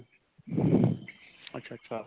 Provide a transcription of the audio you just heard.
ਅੱਛਾ ਅੱਛਾ